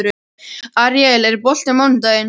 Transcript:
Aríel, er bolti á mánudaginn?